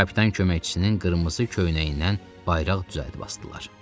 Kapitan köməkçisinin qırmızı köynəyindən bayraq düzəldib asdılar.